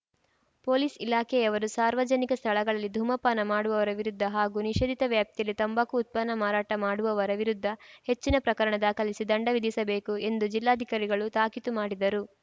police ಇಲಾಖೆಯವರು ಸಾರ್ವಜನಿಕ ಸ್ಥಳಗಳಲ್ಲಿ ಧೂಮಪಾನ ಮಾಡುವವರ ವಿರುದ್ಧ ಹಾಗೂ ನಿಷೇಧಿತ ವ್ಯಾಪ್ತಿಯಲ್ಲಿ ತಂಬಾಕು ಉತ್ಪನ್ನ ಮಾರಾಟ ಮಾಡುವವರ ವಿರುದ್ಧ ಹೆಚ್ಚಿನ ಪ್ರಕರಣ ದಾಖಲಿಸಿ ದಂಡ ವಿಧಿಸಬೇಕುಎಂದು ಜಿಲ್ಲಾಧಿಕಾರಿಗಳು ತಾಕೀತು ಮಾಡಿದರು